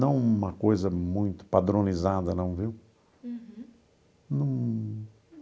Não uma coisa muito padronizada, não, viu? Uhum. Num...